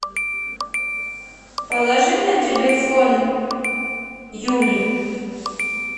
положи на телефон юле